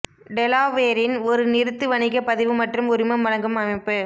டெலாவேரின் ஒரு நிறுத்து வணிக பதிவு மற்றும் உரிமம் வழங்கும் அமைப்பு